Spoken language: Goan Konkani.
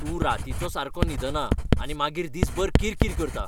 तूं रातीचो सारको न्हिदना आनी मागीर दिसभर किरकिर करता.